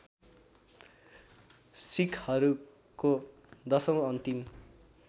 सिक्खहरूको १०औँ अन्तिम